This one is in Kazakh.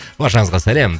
баршаңызға сәлем